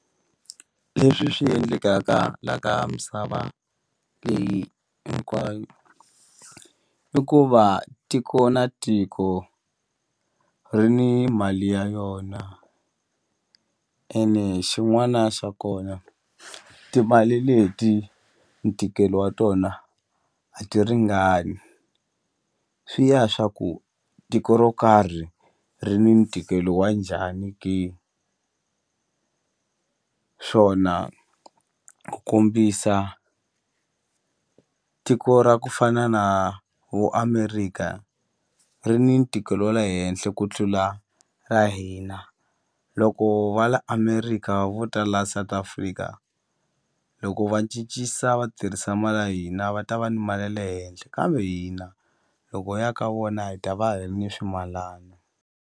Leswi swi endlekaka la ka misava leyi hinkwayo i ku va tiko na tiko ri ni mali ya yona ene xin'wana xa kona timali leti ntikelo wa tona a ti ringani swi ya swa ku tiko ro karhi ri ni ntikelo wa njhani ke swona ku kombisa tiko ra ku fana na vo Amerika ri ni ntikelo wa le henhla ku tlula ra hina loko va la Amerika vo ta la South Africa loko va cincisa va tirhisa mali ya hina va ta va ni mali ya le henhle kambe hina loko hi ya ka vona hi ta va hi ri ni swimalana.